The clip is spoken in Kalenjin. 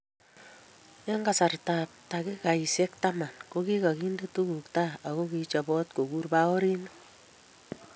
Eng kasartab takikaisiek taman kokikainde tugul tai ako kichopot kokur baorinik